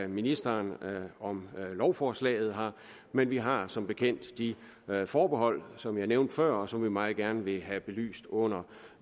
ministeren om lovforslaget men vi har som bekendt de forbehold som jeg nævnte før og som jeg meget gerne vil have belyst under